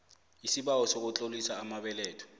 isibawo sokutlolisa amabeletho